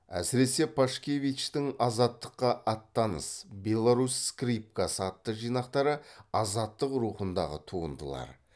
әсіресе пашкевичтің азаттыққа аттаныс беларусь скрипкасы атты жинақтары азаттық рухындағы туындылар